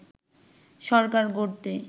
সরকার গড়তে